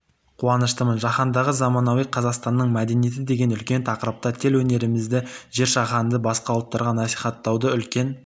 қуаныштымын жаһандағы заманауи қазақстанның мәдениеті деген үлкен тақырыпта төл өнерімізді жер-жаһандағы басқа ұлттарға насихаттауды үлкен